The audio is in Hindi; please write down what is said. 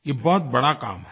यह बहुत बड़ा काम है